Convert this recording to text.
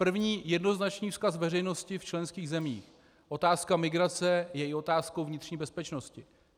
První jednoznačný vzkaz veřejnosti v členských zemích: otázka migrace je i otázkou vnitřní bezpečnosti.